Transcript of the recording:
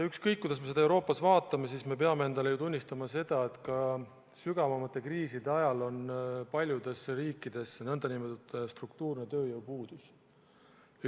Ükskõik, kuidas me seda Euroopas vaatame, me peame endale ju tunnistama, et ka sügavate kriiside ajal on paljudes riikides nn struktuurne tööjõupuudus.